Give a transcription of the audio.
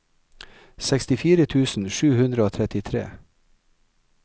sekstifire tusen sju hundre og trettitre